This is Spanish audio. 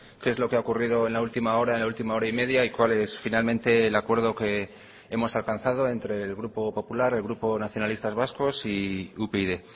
qué es lo que ha ocurrido en la última hora en la última hora y media y cuál es finalmente el acuerdo que hemos alcanzado entre el grupo popular el grupo nacionalistas vascos y upyd